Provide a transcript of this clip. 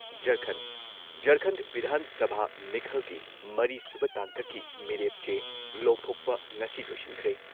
ꯖꯔꯈꯟꯗ ꯖꯔꯈꯟꯗ ꯚꯤꯙꯥꯟ ꯁꯚꯥ ꯃꯤꯈꯜꯒꯤ ꯃꯔꯤ ꯁꯨꯕ ꯇꯥꯡꯀꯛꯀꯤ ꯃꯤꯔꯦꯞ ꯆꯦ ꯂꯧꯊꯣꯛꯄ ꯉꯁꯤ ꯂꯣꯏꯁꯤꯟꯈ꯭ꯔꯦ ꯫